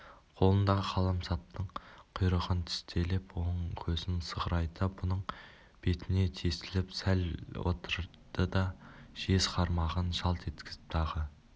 қолындағы қаламсаптың құйрығын тістелеп оң көзін сығырайта бұның бетіне тесіліп сәл отырды да жез қармағын жалт еткізіп тағы